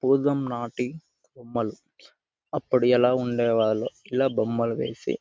పూర్వం నాటి బొమ్మలు. అప్పుడు ఎలా ఉండేవాళ్ళో ఇలా బొమ్మలు వేసి--